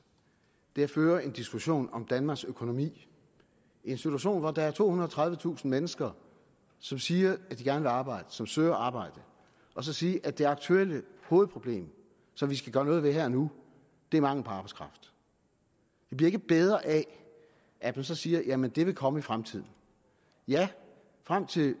er at føre en diskussion om danmarks økonomi i en situation hvor der er tohundrede og tredivetusind mennesker som siger at de gerne vil arbejde og som søger arbejde og så sige at det aktuelle hovedproblem som vi skal gøre noget ved her og nu er manglen på arbejdskraft det bliver ikke bedre af at man så siger jamen det vil komme i fremtiden ja frem til